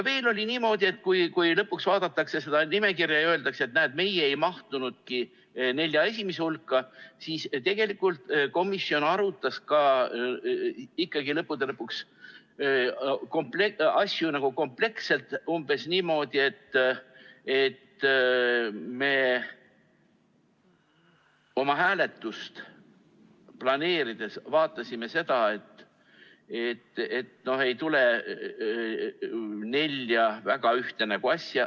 Veel on niimoodi, et kui lõpuks vaadatakse seda nimekirja ja öeldakse, et näed, meie ei mahtunudki nelja esimese hulka, siis ütlen, et tegelikult komisjon arutas ikkagi lõppude lõpuks asju kompleksselt, umbes niimoodi, et me oma hääletust planeerides vaatasime seda, et ei tuleks nelja väga ühte nägu asja.